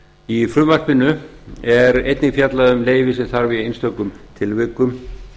í frumvarpinu er einnig fjallað um leyfi sem þarf í einstökum tilvikum